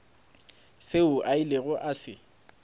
seo a ilego a se